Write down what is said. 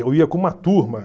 Eu ia com uma turma.